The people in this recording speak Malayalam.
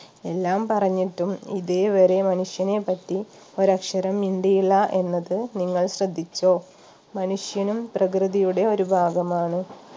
എല്ലാം പറഞ്ഞിട്ടും ഇതേവരെ മനുഷ്യനെപ്പറ്റി ഒരക്ഷരം മിണ്ടിയില്ല എന്നത് നിങ്ങൾ ശ്രദ്ധിച്ചോ മനുഷ്യനും പ്രകൃതിയുടെ ഒരു ഭാഗമാണ്